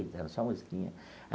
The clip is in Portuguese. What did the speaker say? Eita, só musiquinha.